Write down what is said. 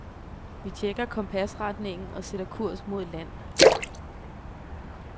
Vi checker kompasretningen og sætter kurs mod land.